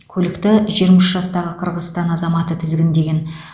көлікті жиырма үш жастағы қырғызстан азаматы тізгіндеген